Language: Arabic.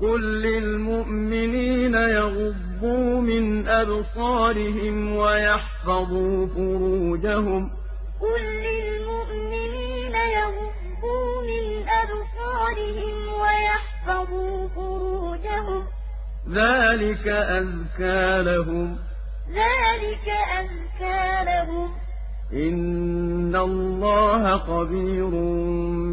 قُل لِّلْمُؤْمِنِينَ يَغُضُّوا مِنْ أَبْصَارِهِمْ وَيَحْفَظُوا فُرُوجَهُمْ ۚ ذَٰلِكَ أَزْكَىٰ لَهُمْ ۗ إِنَّ اللَّهَ خَبِيرٌ